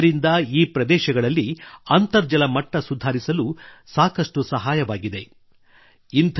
ಇದರಿಂದ ಈ ಪ್ರದೇಶಗಳಲ್ಲಿ ಅಂತರ್ಜಲ ಸುಧಾರಿಸಲು ಸಹ ಸಾಕಷ್ಟು ಸಹಾಯವಾಗಿದೆ